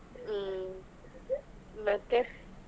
ಹ್ಮ್ ಮತ್ತೆ.